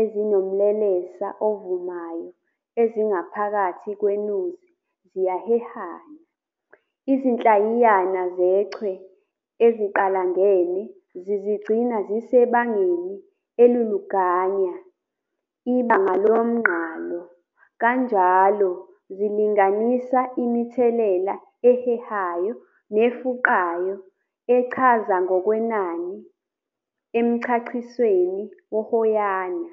ezinomlelesa ovumayo ezingaphakathi kweNuzi ziyahehana. Izinhlayiyana zechwe eziqalangene zizigcina ziseibangeni eliluganya, ibanga lomnqalo, kanjalo zilinganisa imithelela ehehayo nefuqayo echazwa ngokwenani emchachisweni wohoyana.